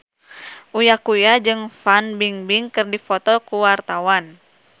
Uya Kuya jeung Fan Bingbing keur dipoto ku wartawan